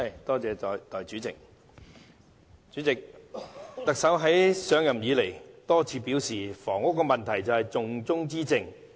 代理主席，特首上任以來多次表示，房屋問題是重中之重。